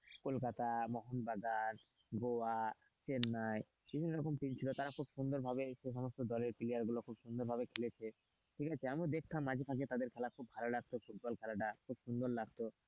কলকাতা মোহন বাজার গোয়া, চেন্নাই বিভিন্ন রকম টিম ছিল তারা খুব সুন্দরভাবে সেই সমস্ত দলের player গুলো খুব সুন্দর ভালো খেলেছে ঠিক আছে আমিও দেখতাম মাঝেসাজে তাদের খেলা খুব ভালো লাগতো ফুটবল খেলাটা খুব সুন্দর লাগতো,